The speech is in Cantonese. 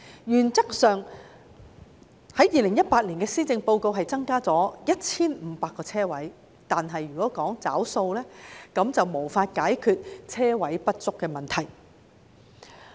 原則上 ，2018 年的施政報告只建議增加 1,500 個泊車位，但如果要"找數"，便無法解決泊車位不足的問題。